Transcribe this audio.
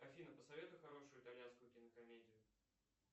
афина посоветуй хорошую итальянскую кинокомедию